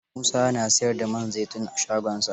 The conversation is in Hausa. Musa na siyar da man zaitun a shagonsa?